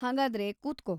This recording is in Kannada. ಹಾಗಾದ್ರೆ, ಕೂತ್ಕೋ.